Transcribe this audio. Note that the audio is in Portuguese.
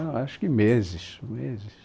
Não, acho que meses, meses.